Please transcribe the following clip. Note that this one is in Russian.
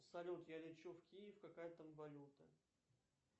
салют я лечу в киев какая там валюта